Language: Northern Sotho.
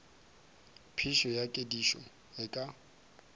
phišo ya kedišo e ka